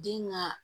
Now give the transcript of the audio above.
Den ka